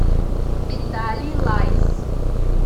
виталий лайс